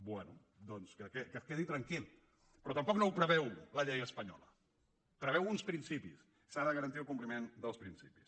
bé doncs que es quedi tranquil però tampoc no ho preveu la llei espanyola preveu uns principis s’ha de garantir el compliment dels principis